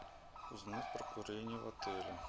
узнать про курение в отеле